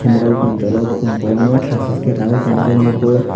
hindra bopang tola o kom kobangma tash tash ke raioe tonrijak nogo.